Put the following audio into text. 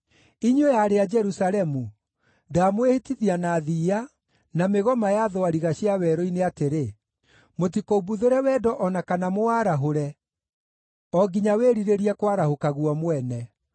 Inyuĩ aarĩ a Jerusalemu, ndamwĩhĩtithia na thiiya, na mĩgoma ya thwariga cia werũ-inĩ atĩrĩ: Mũtikoimbuthũre wendo o na kana mũwarahũre, o nginya wĩrirĩrie kwarahũka guo mwene.